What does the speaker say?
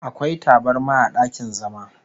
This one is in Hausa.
Akwai tabarma a dakin zama